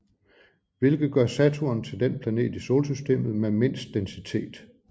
Hvilket gør Saturn til den planet i Solsystemet med mindst densitet